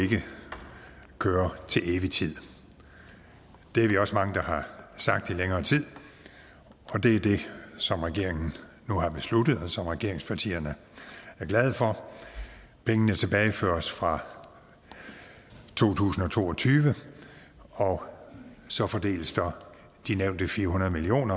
køre til evig tid det er vi også mange der har sagt i længere tid og det er det som regeringen nu har besluttet og som regeringspartierne er glade for pengene tilbageføres fra to tusind og to og tyve og så fordeles de nævnte fire hundrede million